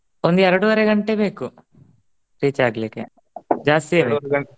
ಒಂದ್ ಎರ್ಡೂವರೆ ಗಂಟೆ ಬೇಕು reach ಆಗ್ಲಿಕೆ ಜಾಸ್ತಿ .